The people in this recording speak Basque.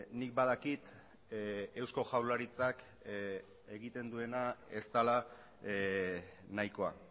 nik badakit eusko jaurlaritzak egiten duena ez dela nahikoa